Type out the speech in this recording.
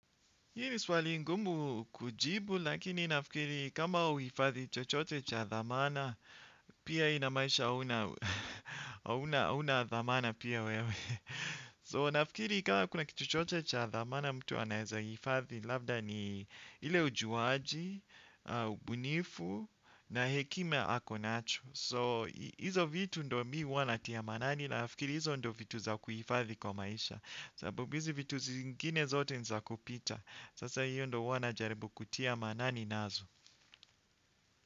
Hii ni swali ngumu kujibu, lakini nafikiri kama uifadhi chochote cha dhamana, pia inamaanisha hauna dhamana pia wewe. So nafikiri kama kuna kitu chochote cha dhamana mtu anaeza hifadhi, labda ni ile ujuaji, ubunifu, na hekima ako nacho. So hizo vitu ndo mi huwa natia manani na nafikiri hizo ndo vitu za kuhifathi kwa maisha. Sababu izi vitu zingine zote ni za kupita. Sasa hiyo ndo huwa najaribu kutia manani nazo.